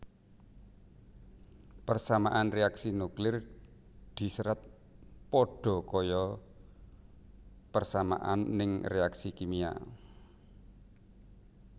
Persamaan reaksi nuklir diserat padha kaya persamaan ning reaksi kimia